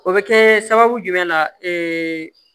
O bɛ kɛ sababu jumɛn na